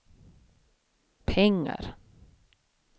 pengar